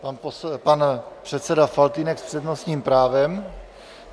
Pan předseda Faltýnek s přednostním právem.